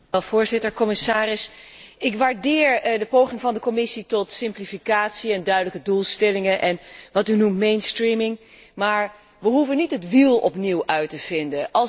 Voorzitter, commissaris, ik waardeer de poging van de Commissie tot simplificatie, duidelijke doelstellingen en wat u mainstreaming noemt, maar we hoeven niet het wiel opnieuw uit te vinden.